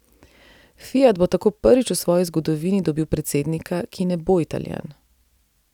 Fiat bo tako prvič v svoji zgodovini dobil predsednika, ki ne bo Italijan.